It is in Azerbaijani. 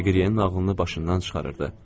Deqriyenin nağılını başından çıxarırdı.